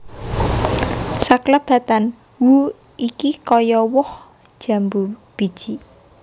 Saklebatan who iki kaya woh jambu biji